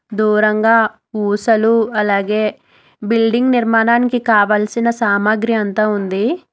దూరంగా ఊసలు అలాగే బిల్డింగ్ నిర్మాణానికి కావలసిన సామాగ్రి అంతా ఉంది.